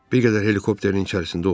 Bir qədər helikopterin içərisində oturdu.